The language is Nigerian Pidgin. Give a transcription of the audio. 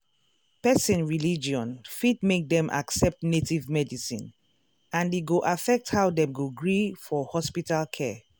person religion fit make dem accept native medicine and e go affect how dem go gree for hospital care.